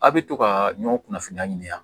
A' bɛ to ka ɲɔn kunnafoniya ɲini yan